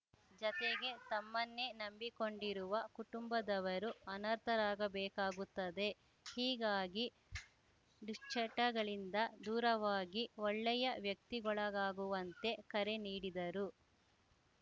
ಜತೆಗೆ ತಮ್ಮನ್ನೇ ನಂಬಿಕೊಂಡಿರುವ ಕುಟುಂಬದವರು ಅನರ್ಥರಾಗಬೇಕಾಗುತ್ತದೆ ಹೀಗಾಗಿ ದುಶ್ಚಟಗಳಿಂದ ದೂರವಾಗಿ ಒಳ್ಳೆಯ ವ್ಯಕ್ತಿಗೊಳಾಗುವಂತೆ ಕರೆ ನೀಡಿದರು